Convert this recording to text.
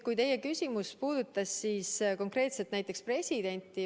Teie küsimus puudutas konkreetselt näiteks presidenti.